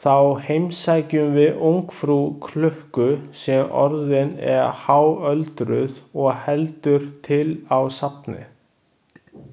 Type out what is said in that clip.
Þá heimsækjum við ungfrú klukku sem orðin er háöldruð og heldur til á safni.